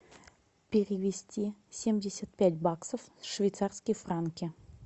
перевести семьдесят пять баксов в швейцарские франки